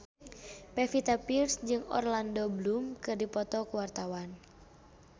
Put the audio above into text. Pevita Pearce jeung Orlando Bloom keur dipoto ku wartawan